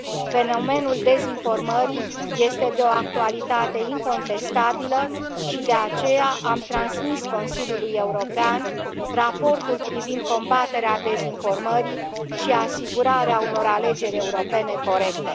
Fenomenul dezinformării este de o actualitate incontestabilă și, de aceea, am transmis Consiliului European Raportul privind combaterea dezinformări și asigurarea unor alegeri europene corecte.